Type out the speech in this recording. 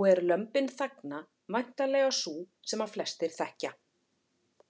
og er Lömbin þagna væntanlega sú sem flestir þekkja.